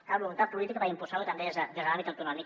cal voluntat política per impulsar lo també des de l’àmbit autonòmic